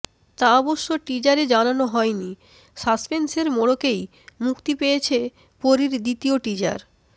তা অবশ্য টিজারে জানানো হয়নি সাসপেন্সের মোড়কেই মুক্তি পেয়েছে পরীর দ্বিতীয় টিজার